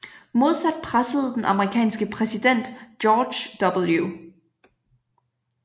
Modsat pressede den amerikanske præsident George W